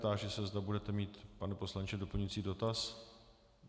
Táži se, zda budete mít, pane poslanče, doplňující dotaz.